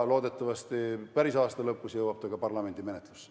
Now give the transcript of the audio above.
Loodetavasti päris aasta lõpus jõuab ta ka parlamendi menetlusse.